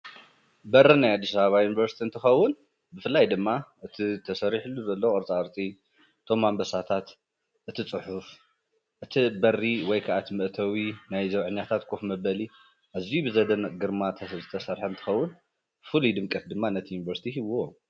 በሪ ናይ ኣዲስኣበባ ኣብ ዩኒቨርስቲ እንትኸዉን ብፍላይ ድማ ብተሰሪሕሉ ዘሎ ቅርፃ ቅርፂ እቶም ኣንበሳታት እቲ ፅሑፍ እቲ በሪ ወይ ከኣ መእተዊ ናይ ዘብዐኛታት ኮፍ መበሊ አዝዪ ብዘገርም ግርማ ዝተሰርሐ እንትከዉን ፍሉይ ድምቀት ድማ ነቲ ዩኒቨርስቲ ሂብዎ ።